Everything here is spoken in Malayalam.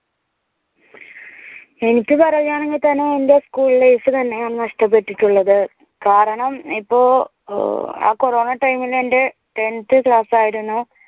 എനിക്ക് പറയാണെങ്കിൽ തന്നെ എന്റെ school life തന്നെയാണ് നഷ്ടപ്പെട്ടിട്ടുള്ളത്. കാരണം ഇപ്പോൾ ആ കൊറോണ time ഇനു എന്റെ tenth class ആയിരുന്നു